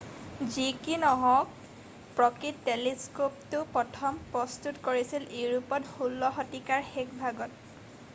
যি কি নহওক প্ৰকৃত টেলিস্ক'পটো প্ৰথম প্ৰস্তুত কৰিছিল ইউৰোপত 16 শতিকাৰ শেষভাগত